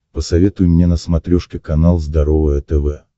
посоветуй мне на смотрешке канал здоровое тв